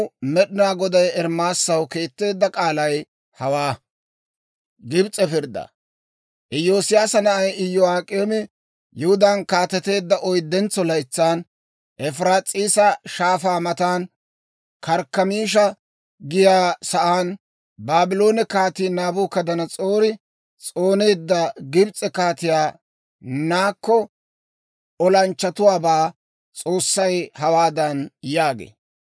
Iyosiyaasa na'ay Iyo'ak'eemi Yihudaan kaateteedda oyddentso laytsan, Efiraas'iisa Shaafaa matan, Karkkamiisha giyaa sa'aan, Baabloone Kaatii Naabukadanas'oori s'ooneedda Gibs'e Kaatiyaa Nako olanchchatuwaabaa S'oossay hawaadan yaagee;